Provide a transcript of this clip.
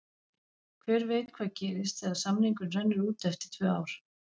Hver veit hvað gerist þegar samningurinn rennur út eftir tvö ár?